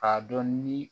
K'a dɔn ni